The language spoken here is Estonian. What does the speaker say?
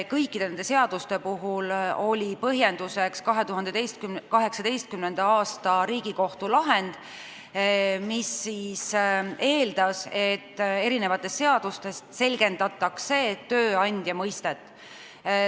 Kõikide nende seaduste puhul oli põhjenduseks 2018. aasta Riigikohtu lahend, mis eeldas, et eri seadustes selgendatakse tööandja mõistet.